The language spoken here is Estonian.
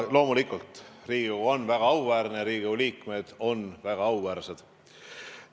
Loomulikult, Riigikogu on väga auväärne, Riigikogu liikmed on väga auväärsed.